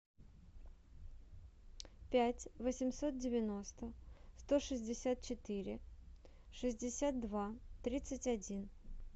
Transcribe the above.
пять восемьсот девяносто сто шестьдесят четыре шестьдесят два тридцать один